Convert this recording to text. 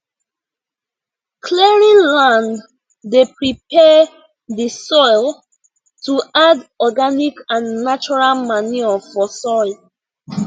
clearing land dey prepare the soil to add organic and natural manure for soil